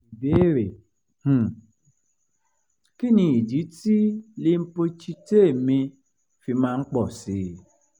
ìbéèrè: um kí nì idí tí lymphocyte mi fi máa ń pọ̀ sí i?